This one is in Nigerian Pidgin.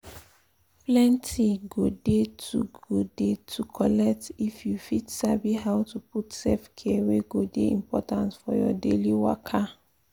plenty go dey to go dey to collect if you fit sabi how to put self-care wey go dey important for your daily waka.